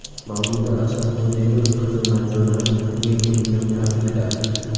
Mavluda Asalxo‘jayeva qizi Marjonani tug‘ilgan kuni bilan tabrikladi.